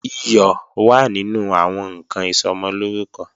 Iyọ̀ wà nínú àwọn ǹkan Ìsọmọlórúkọ